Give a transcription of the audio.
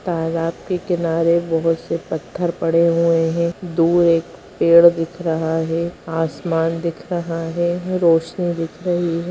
तालाब के किनारे बहोत से पत्थर पड़े हुए हैं दूर एक पेड़ दिख रहा है आसमान दिख रहा है रौशनी दिख रही है।